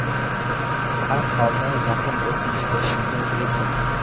Har holda, yaqin o‘tmishda shunday edi.